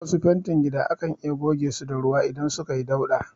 Wasu fentin gida akan iya goge su da ruwa idan suka yi dauɗa